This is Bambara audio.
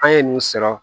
An ye nin sɔrɔ